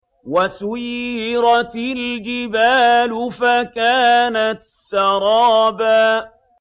وَسُيِّرَتِ الْجِبَالُ فَكَانَتْ سَرَابًا